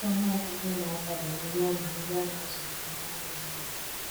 ọtụtụ ọnụ ọgugu ụmụ aka bụ ndi ana ndi ana azulite na nweghi nna